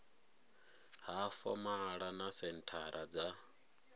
ha fomala na senthara dza